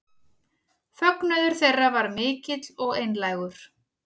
Fögnuður þeirra var mikill og einlægur